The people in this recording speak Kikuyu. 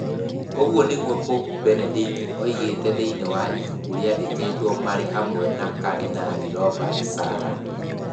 Ũguo nĩguo Pope Benedict oigĩte thĩinĩ wa ibuku rĩandĩkĩtwo marĩ hamwe na Kardinali Robert Sarah.